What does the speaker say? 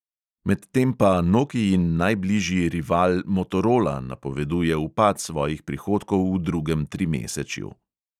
Medtem pa nokiin najbližji rival motorola napoveduje upad svojih prihodkov v drugem trimesečju.